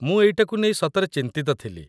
ମୁଁ ଏଇଟାକୁ ନେଇ ସତରେ ଚିନ୍ତିତ ଥିଲି ।